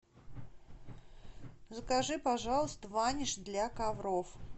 закажи пожалуйста ваниш для ковров